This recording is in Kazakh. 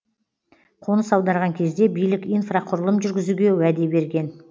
қоныс аударған кезде билік инфрақұрылым жүргізуге уәде берген